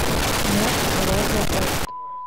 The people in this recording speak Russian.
мосрозаопт